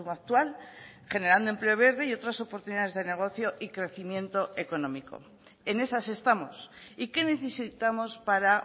actual generando empleo verde y otras oportunidades de negocio y crecimiento económico en esas estamos y qué necesitamos para